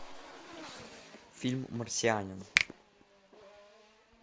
фильм марсианин